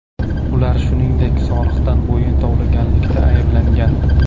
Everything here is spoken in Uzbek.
Ular shuningdek, soliqdan bo‘yin tovlaganlikda ayblangan.